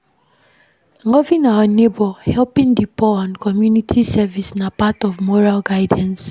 Loving our neighbour, helping di poor and community service na part of moral guidance